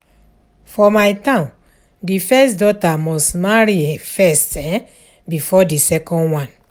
For my town the first daughter must marry first um before the second one